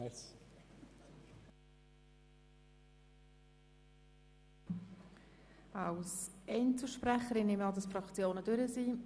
Ich gehe davon aus, dass sich jetzt alle Fraktionen zu Wort gemeldet haben.